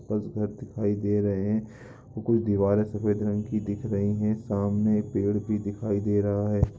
आस-पास घर दिखाई दे रहे हैं| कुछ दीवारें सफेद रंग की दिख रही है| सामने एक पेड़ भी दिखाई दे रहा है।